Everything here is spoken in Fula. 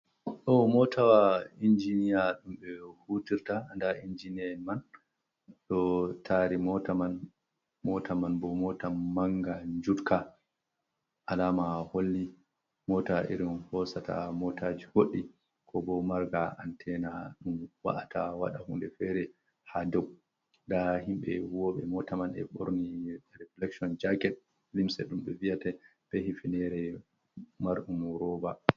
Ɗo motawa injiniya ɗum ɓe hutirta nda injiniya man ɗo dari mota man bo mota manga jutka, alama holli mota irin hosata motaji goɗɗi ko bo marga antena ɗum wa’ata wada hunde fere ha dau, da himbe huwoɓe mota man e borni refilekshon jaket limse ɗumɓe viyata be hifinere mardum roba.